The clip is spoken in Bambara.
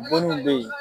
Bonniw be ye